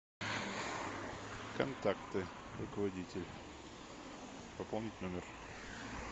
контакты руководитель пополнить номер